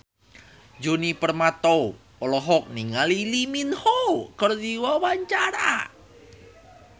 Djoni Permato olohok ningali Lee Min Ho keur diwawancara